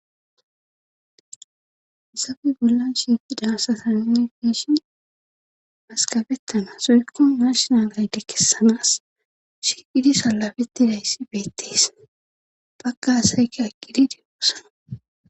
Hayssappe bollan shiifidaasataninne biishi maskabettana soykko marshnalayde kessanas shiqidi salabetti dayssi beettes bakka asayka aqqidi diyoossana